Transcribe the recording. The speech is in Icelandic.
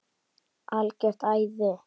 Algjört æði.